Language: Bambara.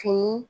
Fini